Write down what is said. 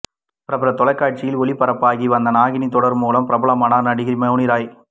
பிரபல தொலைகாட்சியில் ஒளிபரப்பாகி வந்த நாகினி தொடர் மூலம் பிரபலமானவர் நடிகை மவுனிராய்